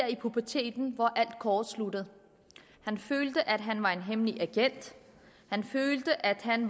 i puberteten hvor alt kortsluttede han følte at han var en hemmelig agent han følte at han